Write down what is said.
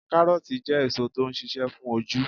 Karooti jẹ́ èso tó ń ṣíṣe fún ojú.